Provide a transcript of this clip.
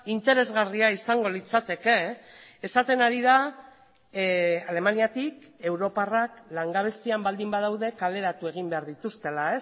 interesgarria izango litzateke esaten ari da alemaniatik europarrak langabezian baldin badaude kaleratu egin behar dituztela